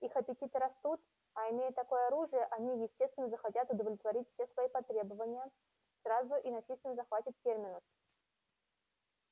их аппетиты растут а имея такое оружие они естественно захотят удовлетворить все свои потребования сразу и насильственно захватят терминус